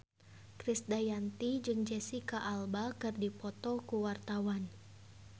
Krisdayanti jeung Jesicca Alba keur dipoto ku wartawan